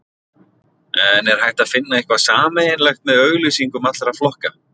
En er hægt að finna eitthvað sameiginlegt með auglýsingum allra flokka?